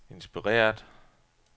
inspireret